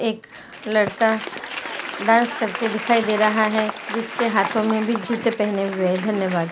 एक लड़का डांस करते दिखाई दे रहा है जिसके हाथो मैं भी जुते पेहने हुए है धन्यवाद्।